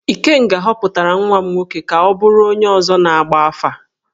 Ikenga họpụtara nwa m nwoke ka ọ bụrụ onye ọzọ na-agba afà.